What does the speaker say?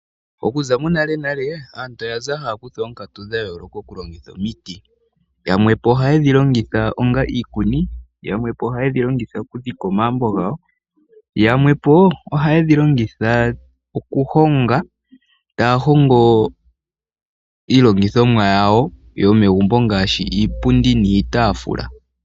Okuza monale nale aantu oya kala haya kutha oonkatu dha yooloka oku longitha omiti. Yamwe oha yhi longitha onga iikuni, okudhika omagumbo gawo yamwe okuhonga iilongithomwa yawo yomegumbo ngaashi iipundi niitaafula.